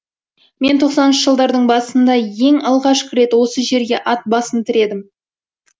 мен тоқсаныншы жылдардың басында ең алғаш рет осы жерге ат басын тіредім